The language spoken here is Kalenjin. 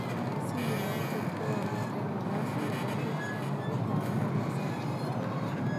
Dc United kogo'nget eng nafasit nebo let eng ligit tab MSL.